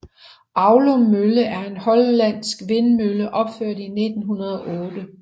Aulum Mølle er en hollandsk vindmølle opført i 1908